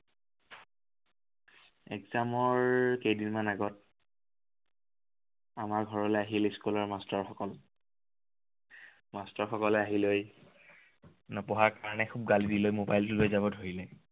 exam ৰ কেইদিনমান আগত আমাৰ ঘৰলৈ আহিল school ৰ master সকল। master সকলে আহি লৈ নপঢ়াৰ কাৰনে খুব গালি দিলে। mobile টো লৈ যাব ধৰিলে।